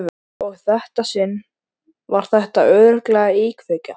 Og í þetta sinn var þetta örugglega íkveikja.